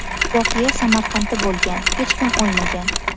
Voqea Samarqandda bo‘lgan, hech kim o‘lmagan.